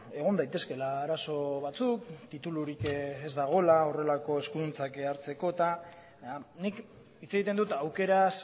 egon daitezkeela arazo batzuk titulurik ez dagoela horrelako eskuduntzak hartzeko eta nik hitz egiten dut aukeraz